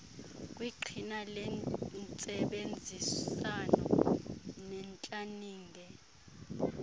kwiqhina lentsebenziswano nentlaninge